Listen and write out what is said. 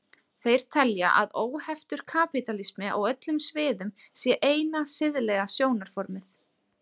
Þeir telja að óheftur kapítalismi á öllum sviðum sé eina siðlega stjórnarformið.